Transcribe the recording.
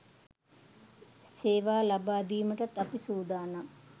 සේවා ලබාදීමටත් අපි සූදානම්